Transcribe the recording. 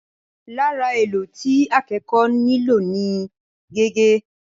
Lára èlò tí akẹ́kọ̀ọ́ nílò ni gègé.